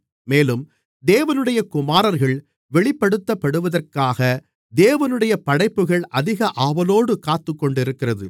மேலும் தேவனுடைய குமாரர்கள் வெளிப்படுத்தப்படுவதற்காக தேவனுடைய படைப்புகள் அதிக ஆவலோடு காத்துக்கொண்டிருக்கிறது